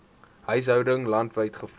huishoudings landwyd gevoer